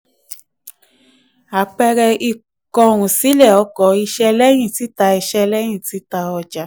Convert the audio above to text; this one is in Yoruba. àpẹẹrẹ: ìkóhunsílẹ̀ ọkọ̀ iṣẹ́ lẹ́yìn tita iṣẹ́ lẹ́yìn tita ọjà.